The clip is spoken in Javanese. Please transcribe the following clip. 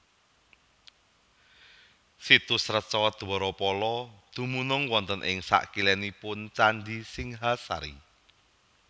Situs Reca Dwarapala dumunung wonten ing sakilénipun Candhi Singhasari